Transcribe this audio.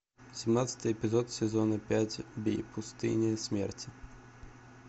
семнадцатый эпизод сезона пять в пустыне смерти